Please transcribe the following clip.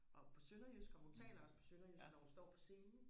og på sønderjysk og hun taler også på sønderjysk når hun står på scenen